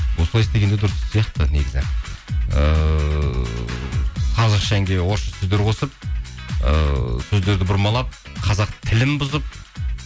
осылай істеген де дұрыс сияқты негізі ыыы қазақша әнге орысша сөздер қосып ыыы сөздерді бұрмалап қазақ тілін бұзып